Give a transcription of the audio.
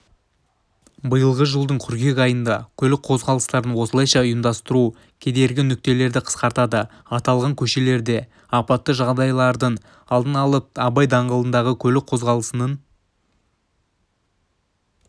биылғы жылдың қыркүйек айында көлік қозғалыстарын осылайша ұйымдастыру кедергі нүктелерді қысқартады аталған көшелерде апатты жағдайлардың алдын алып абай даңғылындағы көлік қозғалысының